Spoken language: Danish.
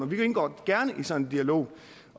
vi indgår gerne i sådan en dialog